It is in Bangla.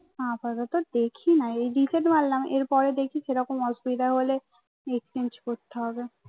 আপাতত দেখিনা এই reset মারলাম এর পরে দেখি কিরকম অসবিধা হলে এক্সচেঞ্জ করতে হবে